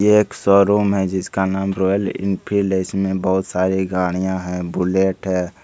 ये एक शोरूम है जिसका नाम रॉयल एनफील्ड है इसमें बहुत सारी गाड़ियाँ हैं बुलेट है।